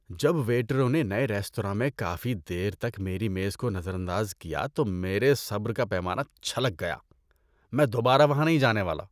جب ویٹروں نے نئے ریستوراں میں کافی دیر تک میری میز کو نظر انداز کیا تو میرے صبر کا پیمانہ چھلک گیا۔ میں دوبارہ وہاں نہیں جانے والا۔